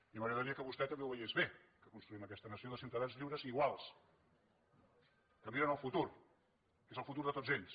i m’agradaria que vostè també ho veiés bé que construïm aquesta nació de ciutadans lliures i iguals que miren el futur que és el futur de tots ells